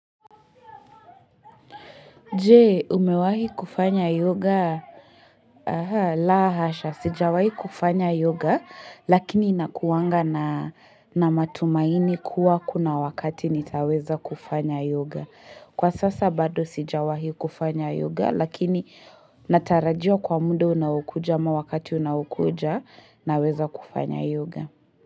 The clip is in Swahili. Je umewahi kufanya yoga ehe la hasha sijawahi kufanya yoga lakini inakuwanga na matumaini kuwa kuna wakati nitaweza kufanya yoga Kwa sasa bado sijawahi kufanya yoga lakini natarajia kwa muda unaokuja ama wakati unaokuja naweza kufanya yoga.